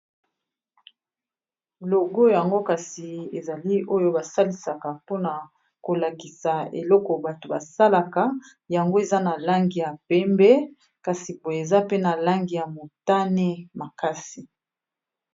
logo yango kasi ezali oyo basalisaka mpona kolakisa eloko bato basalaka yango eza na langi ya pembe kasi boye eza pe na langi ya motane makasi